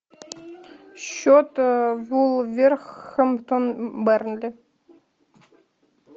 счет вулверхэмптон бернли